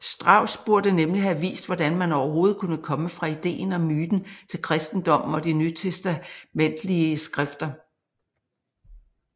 Strauss burde nemlig have vist hvordan man overhovedet kunne komme fra ideen og myten til kristendommen og de nytestamentlige skrifter